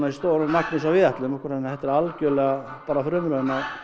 stóru magni eins og við ætlum okkur þannig að þetta er algjörlega bara frumraun